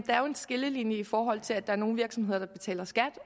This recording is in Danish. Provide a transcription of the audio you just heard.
er jo en skillelinje i forhold til at der er nogle virksomheder der betaler skat